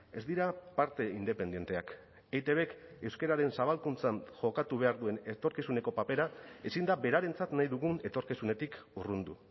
ez dira parte independenteak eitbk euskararen zabalkuntzan jokatu behar duen etorkizuneko papera ezin da berarentzat nahi dugun etorkizunetik urrundu